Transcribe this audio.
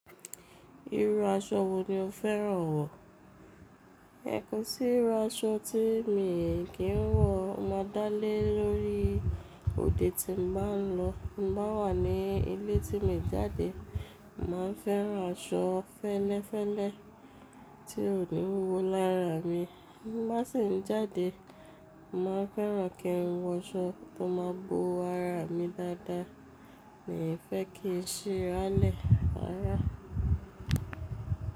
Irú aṣọ wo ni o fẹ́ràn wọ̀? Kò sí irú aṣọ tí mi kí ń wọ̀, ó máa dá lé lórí òde tí mo bá ń lọ. Tí n bá wà ní ilé tí mi jáde, mo màá fẹ́ran aṣọ fẹ́lẹ́fẹ́lẹ́ tí ò ní wúwo lára mi. Tí n bá sì ń jáde, mo màá fẹ́ran kí n wọ aṣọ tó máa bo ara mi dáadáa. Mí fẹ́ kí i sì rálé rárá-rárá.